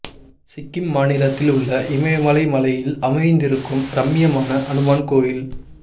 சிக்கிம் மாநிலத்தில் உள்ள இமயமலை மலையில் அமைந்திருக்கும் ரம்மியமான அனுமன் கோயில்